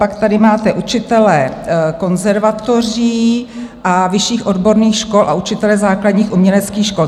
Pak tady máte: učitelé konzervatoří a vyšších odborných škol a učitelé základních uměleckých škol.